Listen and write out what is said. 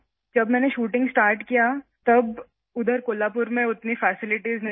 جب میں نے شوٹنگ شروع کی تو کولہاپور میں اتنی سہولیات دستیاب نہیں تھیں